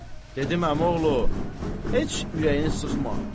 Dedim: əmioğlu, heç ürəyini sıxma!